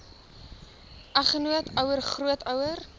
eggenoot ouer grootouer